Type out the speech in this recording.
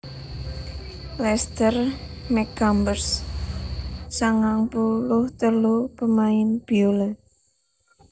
Lester McCumbers sangang puluh telu pamain biola